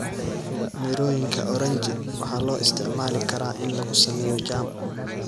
Mirooyinka oranji waxaa loo isticmaali karaa in lagu sameeyo jam.